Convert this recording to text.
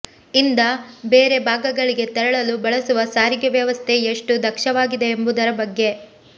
ಯಿಂದ ಬೇರೆ ಭಾಗಗಳಿಗೆ ತೆರಳಲು ಬಳಸುವ ಸಾರಿಗೆ ವ್ಯವಸ್ಥೆ ಎಷ್ಟು ದಕ್ಷವಾಗಿದೆ ಎಂಬುದರ ಬಗ್ಗೆ